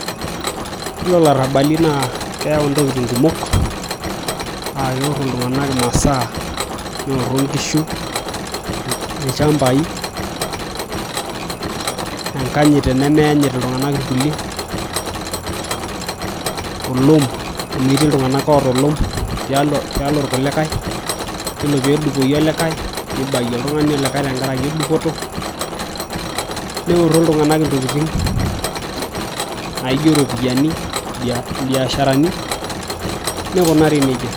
Yiolo ilarabali naa keeyau intokitin kumok aa keoro iltung'anak imasaa neoro inkishu ,ilchambai, enkanyit tenemeanyit iltung'anak irkulie, olom amu etii iltung'anak oota olom tialo irkulikae Yiolo peedupoyu olikae neibayu oltung'ani olikae tenkaraki dupoto neoro iltung'anak intokitin naijio iropiyiani mbiasharani nekunari nejia.